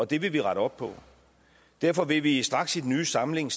det vil vi rette op på derfor vil vi straks i den nye samling